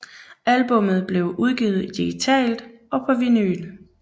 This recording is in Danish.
Albummet blev udgivet digitalt og på vinyl